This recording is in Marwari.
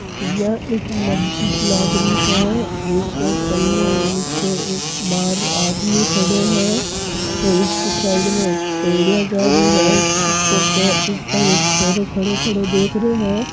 यहां एक मस्जिद लाग रही है एक कने नीचे एक बार आदमी खड्यो है और इकी साइड में एक पेडिया जा रही है जिसके ऊपर एक छोरो खड़ो खड़ो देख रहियो है।